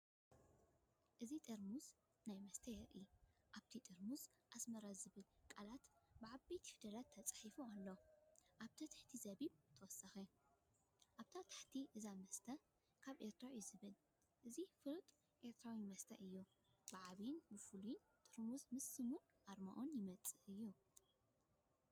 እዚ ጥርሙዝ ናይቲ መስተ የርኢ። ኣብቲ ጥርሙዝ ኣስማራ ዝብል ቃላት ብዓበይቲ ፊደላት ተጻሒፉ ኣሎ፡ኣብ ትሕቲ ዚቢብ ተወሳኺ። ኣብ ታሕቲ እዚ መስተ ካብ ኤርትራ እዩ ዝብል። እዚ ፍሉጥ ኤርትራዊ መስተ እዩ፤ ብዓቢን ፍሉይን ጥርሙዝ ምስ ስሙን ኣርማኡን ይመጽእ እዩ።